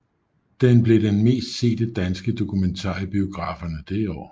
Den blev den mest sete danske dokumentar i biograferne det år